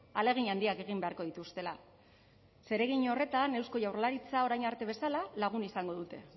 ahalegin handiak egin beharko dituztela zeregin horretan eusko jaurlaritza orain arte bezala lagun izango dute